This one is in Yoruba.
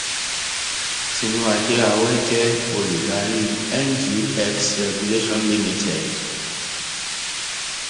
tinuade awe jẹ olùdarí ngx regulation limited